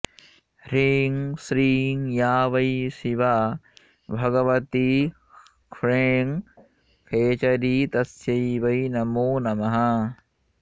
ह्रीं श्रीं या वै शिवा भगवती ह्स्ख्फ्रें खेचरी तस्यै वै नमो नमः